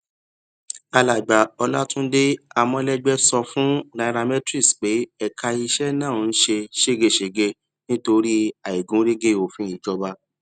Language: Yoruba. alàgbà olatunde amolegbe sọ fún nairametrics pé ẹka iṣẹ náà ń ṣe ṣégeṣége nítorí àìgúnrégé òfin ìjọba